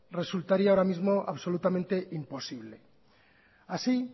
resultaría ahora mismo absolutamente imposible así